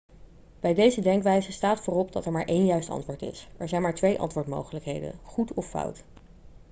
bij deze denkwijze staat voorop dat er maar één juist antwoord is er zijn maar twee antwoordmogelijkheden goed of fout